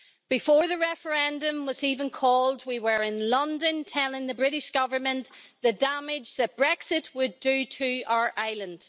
Before the referendum was even called we were in London telling the British Government the damage that Brexit would do to our island.